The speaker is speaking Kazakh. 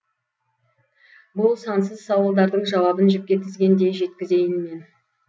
бұл сансыз сауалдардың жауабын жіпке тізгендей жеткізейін мен